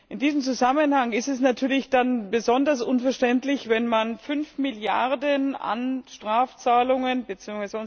In diesem Zusammenhang ist es dann natürlich besonders unverständlich, wenn man fünf Milliarden an Strafzahlungen bzw.